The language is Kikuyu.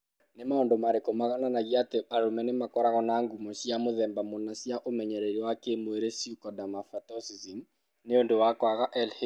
Nĩ maũndũ marĩkũ monanagia atĩ arũme nĩ makoragwo na ngumo cia mũthemba mũna cia ũmenyereri wa kĩĩmwĩrĩ (pseudohermaphroditism) nĩ ũndũ wa kwaga LH?